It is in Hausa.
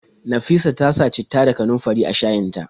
Nafisa ta sa citta da kanunfari a shayin ta.